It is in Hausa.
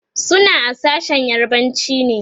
suna a sashen yarbanci ne